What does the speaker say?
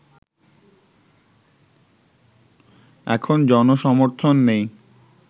এখন জনসমর্থন নেই